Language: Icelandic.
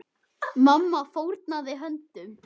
Mamma fórnaði höndum.